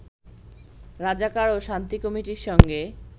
রাজাকার ও শান্তি কমিটির সঙ্গে